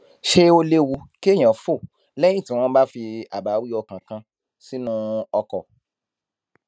ṣé ó léwu kéèyàn fò léyìn tí wón bá fi àbáwí ọkàn kan sínú ọkò